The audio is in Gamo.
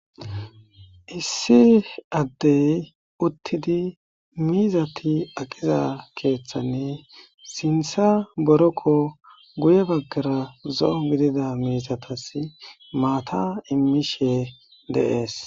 Issi Adey utidi miizati aqiza keethani sintha boroqo guye bagara zo'o gidida mizatasi maata imishe de'esi.